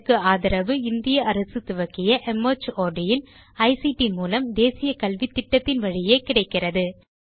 இதற்கு ஆதரவு இந்திய அரசு துவக்கிய மார்ட் இன் ஐசிடி மூலம் தேசிய கல்வித்திட்டத்தின் வழியே கிடைக்கிறது